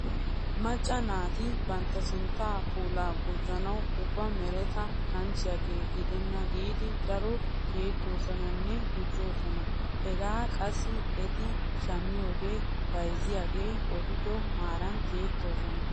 Macca naati bantta sinttaa piulaa gujjanawu ubba mereta kanchchiyagee gidenna giidi daro tiyettoosonanne gujjoosona. Hegaa qassi eti shammiyode bayzziyagee odido maaran tiyettoosona.